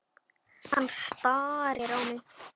Hann starir á mig.